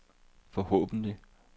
forhåbentlig